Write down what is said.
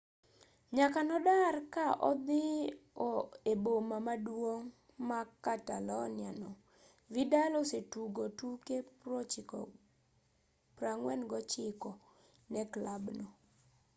nyaka nodar ka odhiyo e boma maduong' ma catalonia no vidal osetugo tuke 49 ne klabno